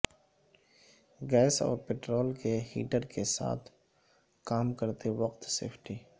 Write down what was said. gas اور petrol کے heater کے ساتھ کام کرتے وقت سیفٹی